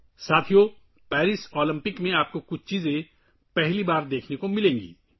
دوستو، آپ کو پیرس اولمپکس میں پہلی بار کچھ چیزیں دیکھنے کو ملیں گی